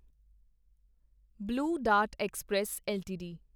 blue dart express LTD